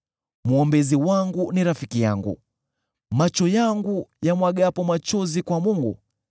Mwombezi wangu ni rafiki yangu macho yangu yamwagapo machozi kwa Mungu;